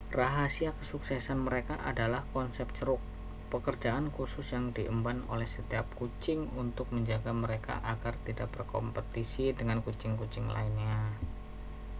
rahasia kesuksesan mereka adalah konsep ceruk pekerjaan khusus yang diemban oleh setiap kucing untuk menjaga mereka agar tidak berkompetisi dengan kucing-kucing lainnya